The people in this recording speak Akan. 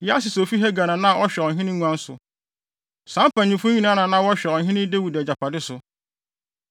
Yasis a ofi Hagar na na ɔhwɛ ɔhene nguan so. Saa mpanyimfo yi nyinaa na na wɔhwɛ ɔhene Dawid agyapade so.